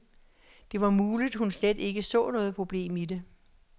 Det var muligt hun slet ikke så noget problem i det.